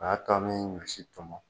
A y'a to bɛ ɲɔsi tɔmɔ